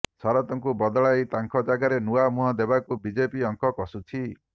ଶରତଙ୍କୁ ବଦଳାଇ ତାଙ୍କ ଜାଗାରେ ନୂଆ ମୁହଁ ଦେବାକୁ ବିଜେପି ଅଙ୍କ କଷୁଛି